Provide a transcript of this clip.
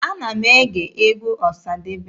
Ana m ege egwu Ọsadebe.